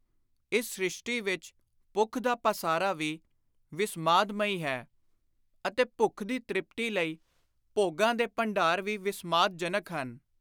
ਇਸ ਸਿ਼ਸ਼ਟੀ ਵਿਚ ਭੁੱਖ ਦਾ ਪਾਸਾਰਾ ਵੀ ਵਿਸਮਾਦ-ਮਈ ਹੈ ਅਤੇ ਭੁੱਖ ਦੀ ਤ੍ਰਿਪਤੀ ਲਈ ਭੋਗਾਂ ਦੇ ਭੰਡਾਰ ਵੀ ਵਿਸਮਾਦ-ਜਨਕ ਹਨ।